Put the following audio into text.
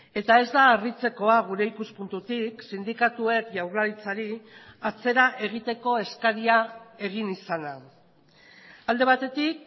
eta ez da harritzekoa gure ikuspuntutik sindikatuek jaurlaritzari atzera egiteko eskaria egin izana alde batetik